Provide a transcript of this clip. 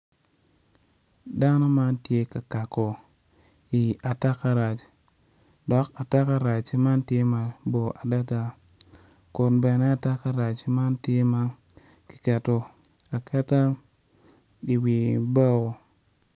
Dano man tye ka kako i atakarac dok atakarac man tye mabor adada kun bene atakarac man tye ma kiketo aketa iwi bao.